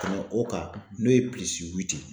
Tɛmɛ o kan n'o ye ye.